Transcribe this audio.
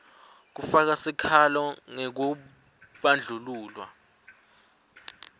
kufaka sikhalo ngekubandlululwa